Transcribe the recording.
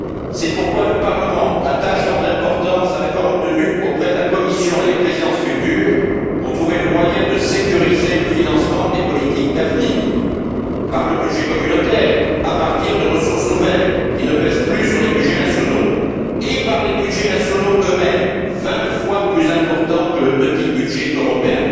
C'est pourquoi, le Parlement attache tant d'importance à l'accord obtenu auprès de la Commission et des Présidences futures pour trouver le moyen de sécuriser le financement des politiques d'avenir, par le budget communautaire, à partir de ressources nouvelles, qui ne pèsent plus sur les budgets nationaux et par les budgets nationaux eux mêmes vingt fois plus importants que le petit budget européen.